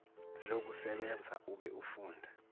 lokusebenza ube ufunda